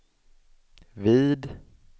vid